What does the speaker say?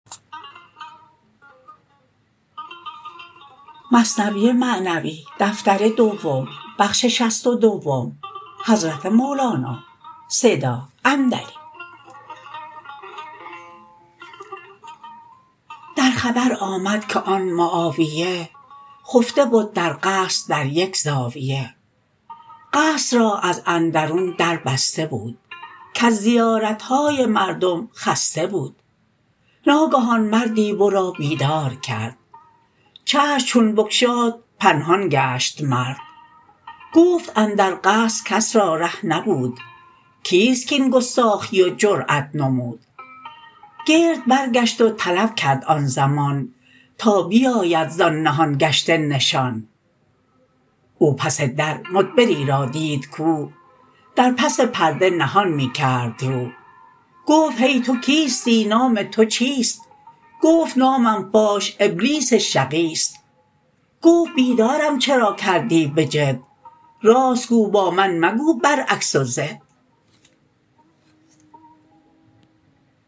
در خبر آمد که آن معاویه خفته بد در قصر در یک زاویه قصر را از اندرون در بسته بود کز زیارتهای مردم خسته بود ناگهان مردی ورا بیدار کرد چشم چون بگشاد پنهان گشت مرد گفت اندر قصر کس را ره نبود کیست کین گستاخی و جرات نمود گرد برگشت و طلب کرد آن زمان تا بیاید زان نهان گشته نشان او پس در مدبری را دید کو در پس پرده نهان می کرد رو گفت هی تو کیستی نام تو چیست گفت نامم فاش ابلیس شقیست گفت بیدارم چرا کردی بجد راست گو با من مگو بر عکس و ضد